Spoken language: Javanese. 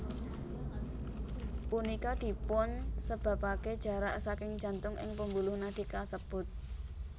Punika dipunsebapake jarak saking jantung ing pembuluh nadi kasebut